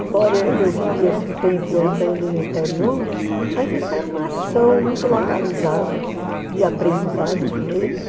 Embora eu vivi esse tempo andando no interior, mas isso era uma ação muito localizada de aprendizado com eles.